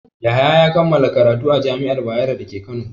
Yahaya ya kammala karatu a jami'ar Bayero da ke Kano.